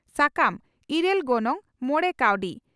ᱥᱟᱠᱟᱢ ᱺ ᱤᱨᱟᱹᱞ ᱜᱚᱱᱚᱝ ᱺ ᱢᱚᱲᱮ ᱠᱟᱣᱰᱤ